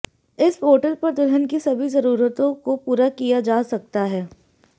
इस पोर्टल पर दुल्हन की सभी जरूरतों को पूरा किया जा सकता है